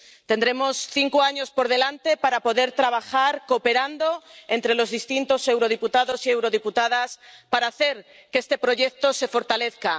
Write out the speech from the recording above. Tendremos cinco años por delante para poder trabajar cooperando entre los distintos diputados y diputadas al Parlamento Europeo para hacer que este proyecto se fortalezca